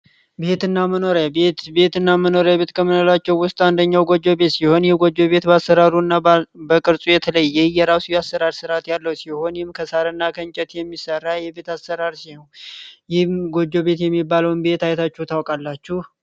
ቤትና መኖሪያ ቤት ቤትና መኖሪያ ቤት ከምንላቸው ውስጥ አንደኛው ጎጆ ቤት ሲሆን ይህ ቤት በአሰራሩ በቅርጹ የተለየ የራሱ የአሰራር ስርዓት ያለው ሲሆን ይህም ከሳር እና ከእንጨት የሚሰራ አሰራር ሲሆን ይህም ጎጆ ቤት የሚባለውን ቤት አይታችሁት ታውቃላችሁ?